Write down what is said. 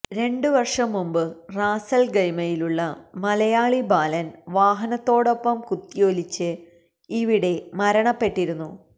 രണ്ടു വർഷം മുൻപ് റാസൽഖൈമയിലുള്ള മലയാളി ബാലൻ വാഹനത്തോടൊപ്പം കുത്തിയൊലിച്ച് ഇവിടെ മരണപ്പെട്ടിരുന്നു